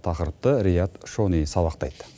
тақырыпты риат шони сабақтайды